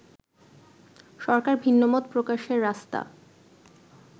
সরকার ভিন্নমত প্রকাশের রাস্তা